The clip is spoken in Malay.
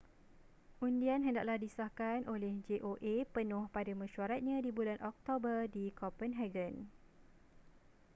undian hendaklah disahkan oleh joa penuh pada mesyuaratnya di bulan oktober di copenhagen